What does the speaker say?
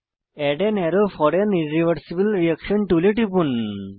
add an arrow for an irreversible reaction টুলে টিপুন